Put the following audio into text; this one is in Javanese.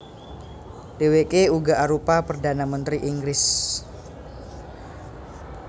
Dhèwèké uga arupa perdhana mentri Inggris